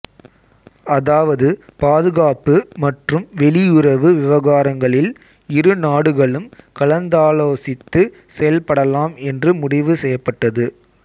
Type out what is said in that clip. அதாவது பாதுகாப்பு மற்றும் வெளியுறவு விவகாரங்களில் இரு நாடுகளும் கலந்தாலோசித்து செயல்படலாம் என்று முடிவு செய்யப்பட்டது